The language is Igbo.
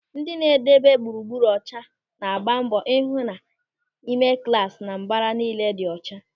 Ndị na-edebe gburugburu ọcha na-agba mbọ ịhụ na ime klasị na mbara niile dị ọcha.